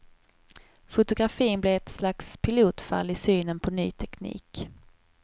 Fotografin blev ett slags pilotfall i synen på ny teknik.